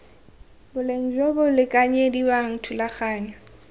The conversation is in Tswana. boleng jo bo lekanyediwang thulaganyo